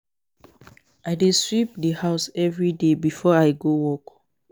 I dey sweep the house everyday before I go work.